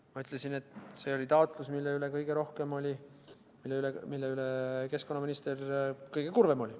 Ma ütlesin, et see oli taotlus, mille tagasilükkamise pärast oli keskkonnaminister kõige kurvem.